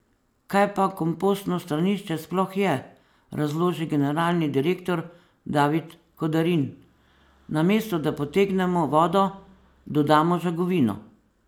Kaj pa kompostno stranišče sploh je, razloži generalni direktor, David Kodarin: "Namesto, da potegnemo vodo, dodamo žagovino.